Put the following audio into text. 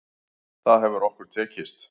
Það hefur okkur tekist.